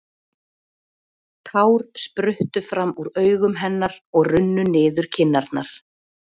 Tár spruttu fram úr augum hennar og runnu niður kinnarnar.